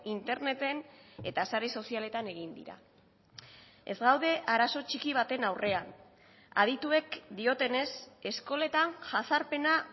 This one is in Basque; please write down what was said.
interneten eta sare sozialetan egin dira ez gaude arazo txiki baten aurrean adituek diotenez eskoletan jazarpena